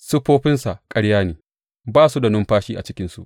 Siffofinsa ƙarya ne; ba su da numfashi a cikinsu.